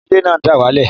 Ilẹ̀ náà dà wá lẹ̀